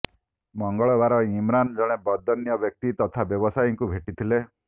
ମଙ୍ଗଳବାର ଇମ୍ରାନ ଜଣେ ବଦାନ୍ୟ ବ୍ୟକ୍ତି ତଥା ବ୍ୟବସାୟୀଙ୍କୁ ଭେଟିଥିଲେ